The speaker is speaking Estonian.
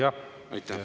Jah, aitäh!